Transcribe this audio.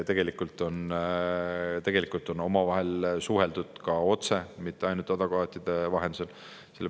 Tegelikult on omavahel suheldud ka otse, mitte ainult advokaatide vahendusel.